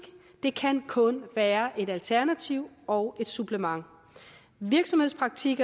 det kan kun være et alternativ og et supplement virksomhedspraktik